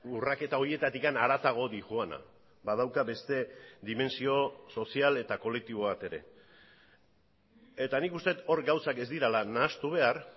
urraketa horietatik haratago doana badauka beste dimentsio sozial eta kolektibo bat ere eta nik uste dut hor gauzak ez direla nahastu behar